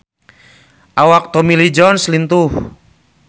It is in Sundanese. Awak Tommy Lee Jones lintuh